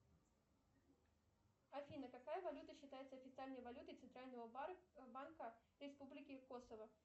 афина какая валюта считается официальной валютой центрального банка республики косово